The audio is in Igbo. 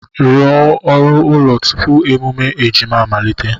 Rụọ oru ụlọ tupu emume ejima amalite!